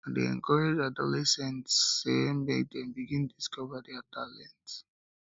i dey encourage adolescents sey make dem begin discover their talents